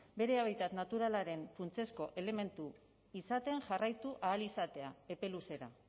bere habitat naturalaren funtsezko elementu izaten jarraitu ahal izatea epe luzera